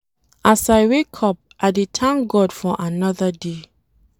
As I wake up, I dey thank God for another day.